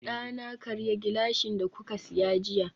dana karya gilashin da kuka siya jiya